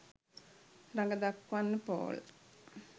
රඟ දක්වන්න පෝල්